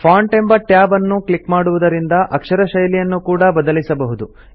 font ಎಂಬ tab ಅನ್ನು click ಮಾಡುವುದರಿಂದ ಅಕ್ಷರ ಶೈಲಿಯನ್ನು ಕೂಡಾ ಬದಲಿಸಬಹುದು